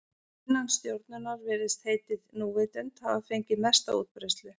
Innan stjórnunar virðist heitið núvitund hafa fengið mesta útbreiðslu.